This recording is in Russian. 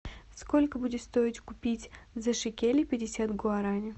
сколько будет стоить купить за шекели пятьдесят гуарани